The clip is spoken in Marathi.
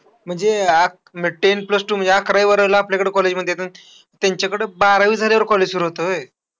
म्हणजे अक म ten plus two म्हणजे अकरावी बारावीला आपल्याकडे college म्हणतात ना. त्यांच्याकडे बारावी झाल्यावर college सुरु होतं व्हय?